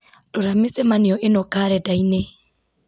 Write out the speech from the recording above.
rora mĩcemanio ĩno karenda-inĩ